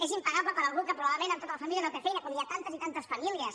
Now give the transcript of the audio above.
és impagable per algú que probablement en tota la família no té feina com hi ha a tantes i tantes famílies